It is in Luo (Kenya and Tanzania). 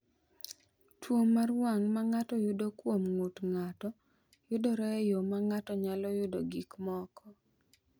"Tuwo mar wang’ ma ng’ato yudo kuom ng’ut ng’ato (DHRD) yudore e yo ma ng’ato nyalo yudogo gik moko."